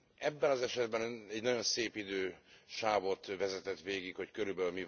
Ebben az esetben Ön egy nagyon szép idősávot vezetett végig, hogy kb.